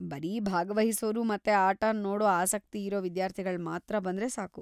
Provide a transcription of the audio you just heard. ಬರೀ ಭಾಗವಹಿಸೋರು ಮತ್ತೆ ಆಟನ್ ನೋಡೋ ಆಸಕ್ತಿ ಇರೋ ವಿದ್ಯಾರ್ಥಿಗಳ್ ಮಾತ್ರ ಬಂದ್ರೆ ಸಾಕು.